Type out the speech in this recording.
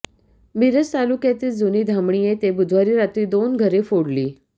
मिरज तालुक्यातील जुनी धामणी येथे बुधवारी रात्री दोन घरे फोडली